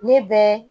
Ne bɛ